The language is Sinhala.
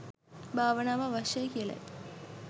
භාවනාව අවශ්‍යයි කියලයි.